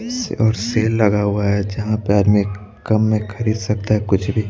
से और सेल लगा हुआ है जहां पे आदमी कम में खरीद सकता है कुछ भीये--